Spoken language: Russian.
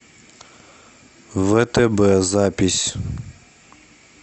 втб запись